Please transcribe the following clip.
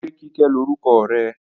Ṣé Kíkẹ́ lórúkọ rẹ?